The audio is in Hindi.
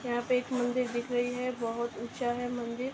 यहाँ पे एक मंदिर दिख रही है बहोत ऊँचा है मंदिर।